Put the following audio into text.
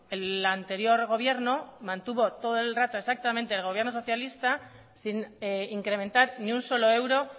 el anterior gobierno mantuvo todo el rato exactamente el gobierno socialista sin incrementar ni un solo euro